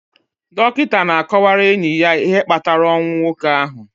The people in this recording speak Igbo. Dọkịta na-akọwara enyi ya ihe kpatara ọnwụ nwoke ahụ